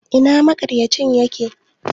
Ina maƙarya cin yake?